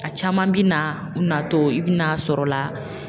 A caman bɛ na u natɔ i bɛna a sɔrɔla